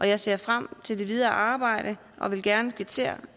jeg ser frem til det videre arbejde og vil gerne kvittere